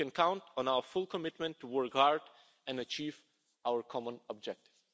You can count on our full commitment to work hard and achieve our common objective.